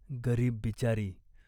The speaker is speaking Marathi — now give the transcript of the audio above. गरीब बिचारी !